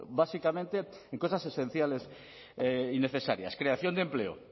básicamente en cosas esenciales y necesarias creación de empleo